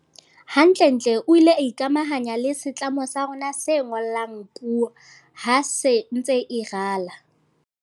Hantlentle o ile a ikamahanya le setlamo sa rona se ngolang puo ha se ntse e rala.